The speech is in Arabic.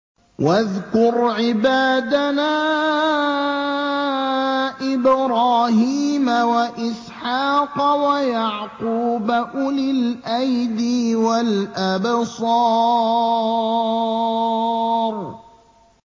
وَاذْكُرْ عِبَادَنَا إِبْرَاهِيمَ وَإِسْحَاقَ وَيَعْقُوبَ أُولِي الْأَيْدِي وَالْأَبْصَارِ